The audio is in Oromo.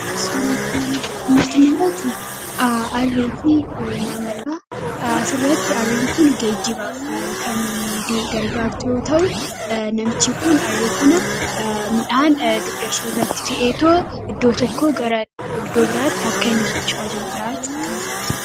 atu arifi namadhaaasirratti arriin kun geejjibaaf kand gargaartoo ta'u namichi kun arrii kana midhaan 5 irratti fa'eetoo iddoo tokko gadoobiraatti akka inni socho ajiiru dha'achu akkan gara